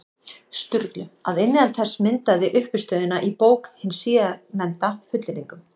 Sturlu, að innihald þess myndaði uppistöðuna í bók hins síðarnefnda, fullyrðingum.